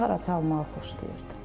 Gitara çalmağı xoşlayırdı.